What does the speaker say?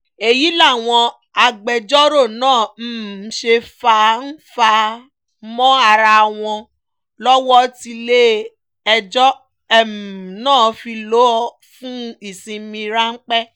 èyí làwọn agbẹjọ́rò náà um ṣe fà-ǹ-fà-á mọ ara wọn lọ́wọ́ tílẹ̀-ẹjọ́ um náà fi lọ fún ìsinmi ráńpẹ́